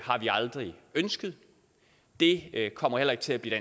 har vi aldrig ønsket det kommer heller ikke til at blive